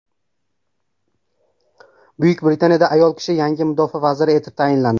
Buyuk Britaniyada ayol kishi yangi mudofaa vaziri etib tayinlandi.